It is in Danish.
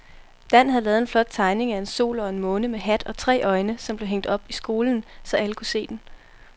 Dan havde lavet en flot tegning af en sol og en måne med hat og tre øjne, som blev hængt op i skolen, så alle kunne se den.